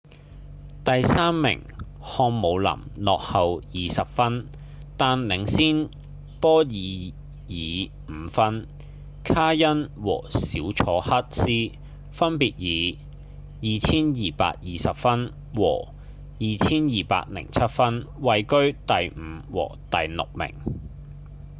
第三名漢姆林落後20分但領先波伊爾5分卡恩和小楚克斯分別以2220分和2207分位居第五和第六名